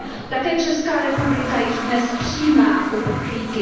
Také Česká republika již dnes přijímá uprchlíky.